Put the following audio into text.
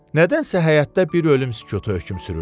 Nədənsə həyətdə bir ölüm sükutu hökm sürürdü.